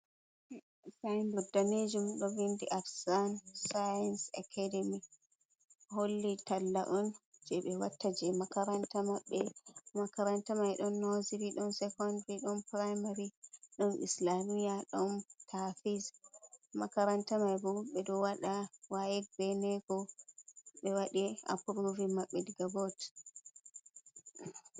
Sinbod danejuum ɗo vindi af san-sains akademi, holli talla’on je ɓe watta je makaranta maɓɓe, makaranta mai ɗon noziri, ɗon secondiri ɗon piramari, ɗon islamiya, ɗon tafsiri, makaranta maɓbe ɗo waɗa wayek be neeko, be waɗi apuruving maɓɓe diga bot.